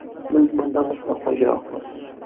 Biz bundan mutlaqo yiroqmiz.